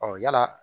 yala